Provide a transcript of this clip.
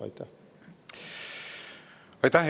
Aitäh!